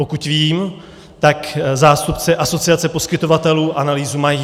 Pokud vím, tak zástupci Asociace poskytovatelů analýzu mají.